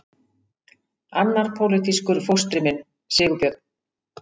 Annar pólitískur fóstri minn, Sigurbjörn